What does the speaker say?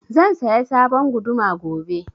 Zan saya sabon guduma gobe